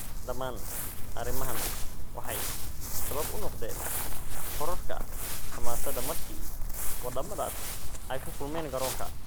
Dhamaan arrimahan waxay sabab u noqdeen kororka xamaasadda markii waddamadaas ay ku kulmeen garoonka.